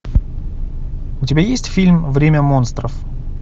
у тебя есть фильм время монстров